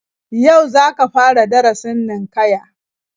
Yau za ka fara darasin ninkaya